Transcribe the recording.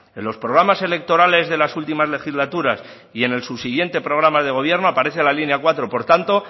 en los programas electorales de las últimas legislaturas y en el subsiguiente programa de gobierno aparece la línea cuatro por tanto